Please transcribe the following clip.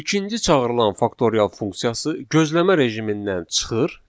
İkinci çağırılan faktorial funksiyası gözləmə rejimindən çıxır.